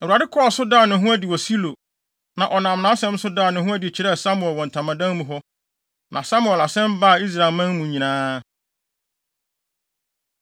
Awurade kɔɔ so daa ne ho adi wɔ Silo, na ɔnam nʼasɛm so daa ne ho adi kyerɛɛ Samuel wɔ ntamadan mu hɔ. Na Samuel asɛm baa Israelman mu nyinaa